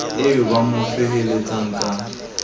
eo ba mo feheletsang ka